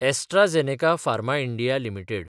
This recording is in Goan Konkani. AstraZeneca pharma India limited